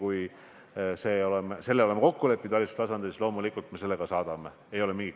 Mina olen siiamaani aru saanud, et pangad püüavad igasugustest ideoloogiatest ennast eemale hoida.